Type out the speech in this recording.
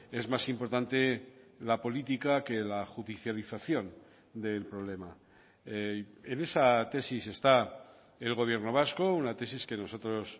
es más importante la política que la judicialización del problema en esa tesis está el gobierno vasco una tesis que nosotros